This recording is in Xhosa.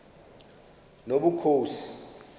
nobukhosi